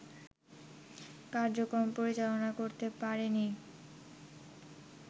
কার্যক্রম পরিচালনা করতে পারেনি